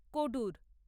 Kodur